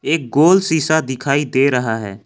एक गोल शीशा दिखाई दे रहा है।